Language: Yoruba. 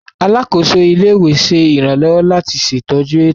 Alakoso ile-iwe ṣe iranlọwọ lati ṣetọju eto.